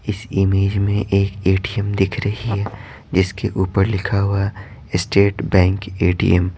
इस इमेज में एक एटीएम दिख रही है जिसके ऊपर लिखा हुआ है स्टेट बैंक एटीएम ।